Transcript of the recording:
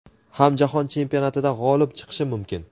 ham jahon chempionatida g‘olib chiqishi mumkin.